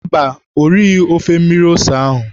Mba, o righị ofe mmiri ose ahụ.